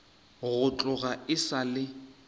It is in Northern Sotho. go tloga e sa le